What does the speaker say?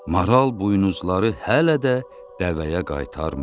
Maral buynuzları hələ də dəvəyə qaytarmayıb.